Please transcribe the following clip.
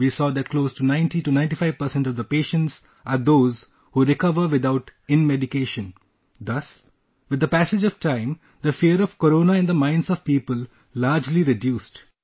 We saw that close to 9095% of the patients are those who recover without inmedication...thus, with the passage of time, the fear of corona in the minds of people largely reduced